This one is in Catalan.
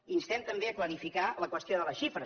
instem també a clarificar la qüestió de les xifres